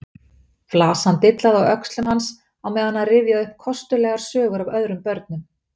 Flasan dillaði á öxlum hans á meðan hann rifjaði upp kostulegar sögur af öðrum börnum.